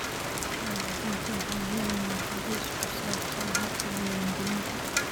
Waalidiintu waxay helayaan hagis ku saabsan habka diiwaangelinta.